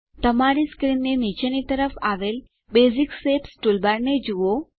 તમારી સ્ક્રીનની નીચેની તરફ આવેલ બેસિક શેપ્સ ટૂલબારને જુઓ